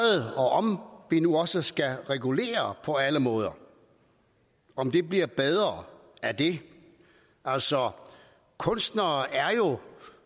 og om vi nu også skal regulere på alle måder om det bliver bedre af det altså kunstnere er jo